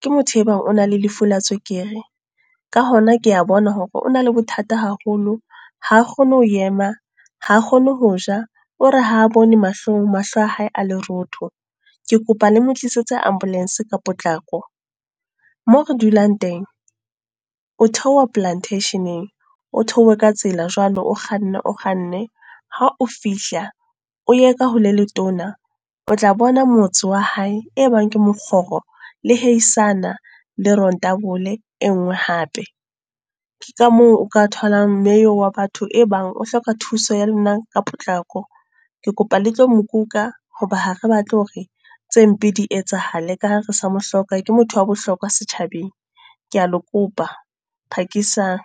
ke motho e bang o na le lefu la tswekere. Ka hona kea bona hore o na le bothata haholo, ha kgone ho ema, ha kgone ho ja. O re ha bone mahlong mahlo a hae a lerotho. Ke kopa le mo tlisetse ambulance ka potlako. Moo re dulang teng, o theoha Plantation-eng, o theohe ka tsela jwale o kganne o kganne, ha o fihla, o ye ka ho le letona. O tla bona motse wa hae, e bang ke mokgoro le heisana, le rontabole e nngwe hape. Ka moo o ka tholang mme eo wa batho e bang o hloka thuso ya lona ka potlako. Ke kopa le tlo mokuka hoba ha re batle hore tse mpe di etsahale ka ha re sa mohloka, ke motho wa bohlokwa setjhabeng. Kea le kopa, phakisang.